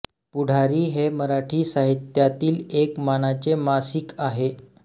पुढारी हे मराठी साहित्यातील एक मानाचे मासिक आहे